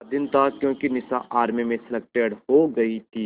का दिन था क्योंकि निशा आर्मी में सेलेक्टेड हो गई थी